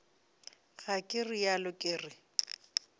ga ke realo ke re